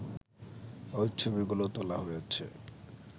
ওই ছবিগুলো তোলা হয়েছে